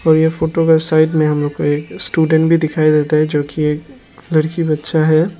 और यह फोटो के साइट में हम लोग को एक स्टूडेंट भी दिखाई देता है जो की एक लड़की बच्चा है।